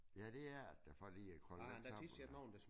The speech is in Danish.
Ja det er det da for lige at krølle lidt sammen eller hvad